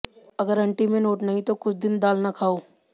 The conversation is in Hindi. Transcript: अगर अंटी में नोट नहीं तो कुछ दिन दाल न खाओ